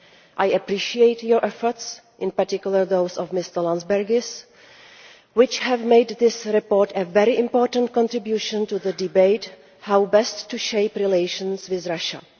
I appreciate your efforts, in particular those of Mr Landsbergis, which have made this report a very important contribution to the debate on how best to shape relations with Russia.